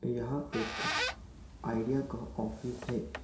और यहाँ एक आइडिया का ऑफिस है।